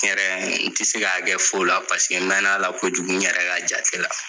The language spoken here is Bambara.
N yɛrɛ n te se k'a kɛ fu la mɛn'a la kojugu n yɛrɛ ka jate la.